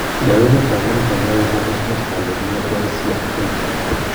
lewenet ap minista neoo komusmus kalyet nebo DRC ag peljam